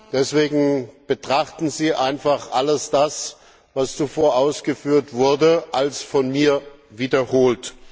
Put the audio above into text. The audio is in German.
Deswegen betrachten Sie einfach all das, was zuvor ausgeführt wurde, als von mir wiederholt.